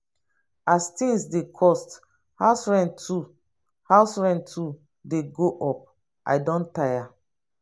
as tins dey cost house rent too house rent too dey go up i don tire.